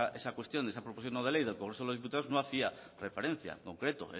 esa cuestión esa proposición no de ley del congreso de los diputados no hacía referencia en concreto